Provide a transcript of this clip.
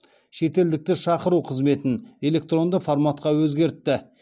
шетелдікті шақыру қызметін электронды форматқа өзгертті